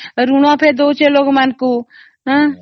bank ତ ଭଲ ନା ଋଣ ଦେଉଛି ଲୋକ ମାନଙ୍କୁ